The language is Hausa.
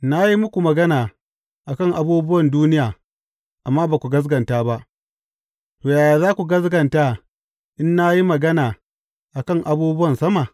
Na yi muku magana a kan abubuwan duniya amma ba ku gaskata ba; to, yaya za ku gaskata in na yi magana a kan abubuwan sama?